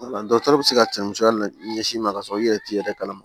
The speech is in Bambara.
dɔgɔtɔrɔ be se ka cɛn musoya na ɲɛsin ma kasɔrɔ i yɛrɛ t'i yɛrɛ kalama